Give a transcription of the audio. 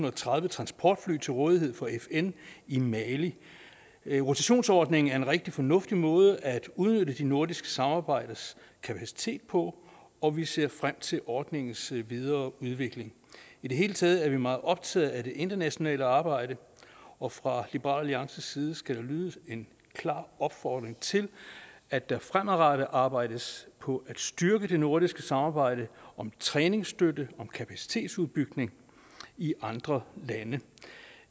og tredive transportfly til rådighed for fn i mali rotationsordningen er en rigtig fornuftig måde at udnytte det nordiske samarbejdes kapacitet på og vi ser frem til ordningens videreudvikling i det hele taget er vi meget optaget af det internationale arbejde og fra liberal alliances side skal der lyde en klar opfordring til at der fremadrettet arbejdes på at styrke det nordiske samarbejde om træningsstøtte og kapacitetsopbygning i andre lande